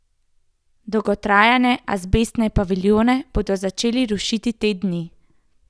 Dotrajane azbestne paviljone bodo začeli rušiti te dni.